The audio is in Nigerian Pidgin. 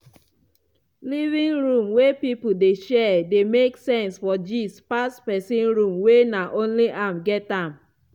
living room wey people dey share dey make sense for gist pass pesin room wey na only am get am.